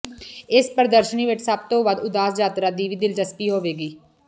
ਇਸ ਪ੍ਰਦਰਸ਼ਨੀ ਵਿੱਚ ਸਭ ਤੋਂ ਵੱਧ ਉਦਾਸ ਯਾਤਰੀ ਦੀ ਵੀ ਦਿਲਚਸਪੀ ਹੋਵੇਗੀ